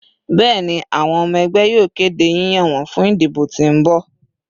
Bẹẹni, awọn ọmọ ẹgbẹ yoo kede yiyan wọn fun idibo ti n bọ